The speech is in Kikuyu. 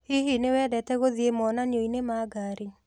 Hihi nĩwendete gũthiĩ monanionĩ ma ngari?